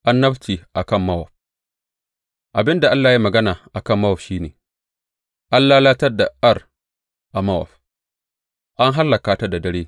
Annabci a kan Mowab Abin da Allah ya yi magana a kan Mowab shi ne, An lalatar da Ar a Mowab, an hallaka ta da dare!